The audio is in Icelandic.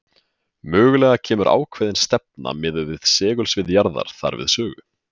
Mögulega kemur ákveðin stefna miðað við segulsvið jarðar þar við sögu.